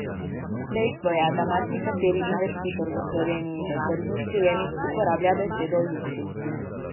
Dejstvo je, da marsikateri investitor v Sloveniji v tržnih prijemih uporablja besedo luksuz.